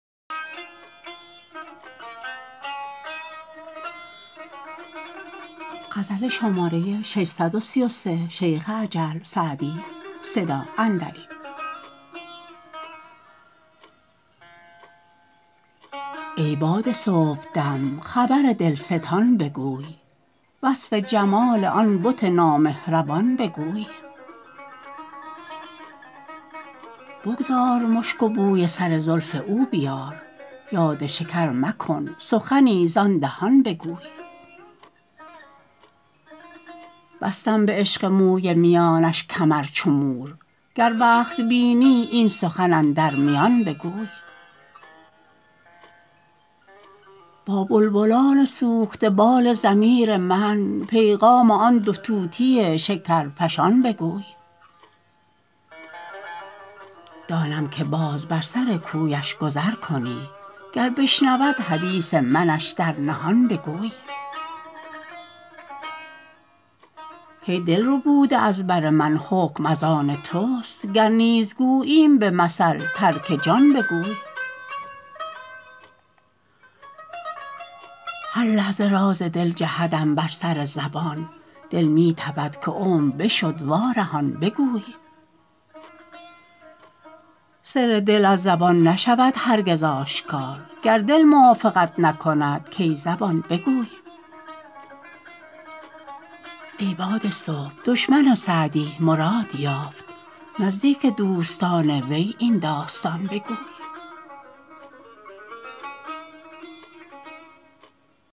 ای باد صبحدم خبر دلستان بگوی وصف جمال آن بت نامهربان بگوی بگذار مشک و بوی سر زلف او بیار یاد شکر مکن سخنی زآن دهان بگوی بستم به عشق موی میانش کمر چو مور گر وقت بینی این سخن اندر میان بگوی با بلبلان سوخته بال ضمیر من پیغام آن دو طوطی شکرفشان بگوی دانم که باز بر سر کویش گذر کنی گر بشنود حدیث منش در نهان بگوی کای دل ربوده از بر من حکم از آن توست گر نیز گوییم به مثل ترک جان بگوی هر لحظه راز دل جهدم بر سر زبان دل می تپد که عمر بشد وارهان بگوی سر دل از زبان نشود هرگز آشکار گر دل موافقت نکند کای زبان بگوی ای باد صبح دشمن سعدی مراد یافت نزدیک دوستان وی این داستان بگوی